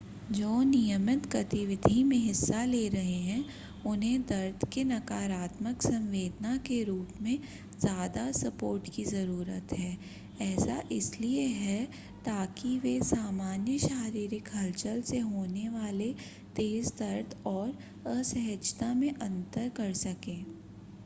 जो नियमित गतिविधि में हिस्सा ले रहे हैं उन्हें दर्द के नकारात्मक संवेदना के रूप में ज़्यादा सपोर्ट की ज़रूरत है ऐसा इसलिए है ताकि वे सामान्य शारीरिक हलचल से होने वाले तेज़ दर्द और असहजता में अंतर कर सकें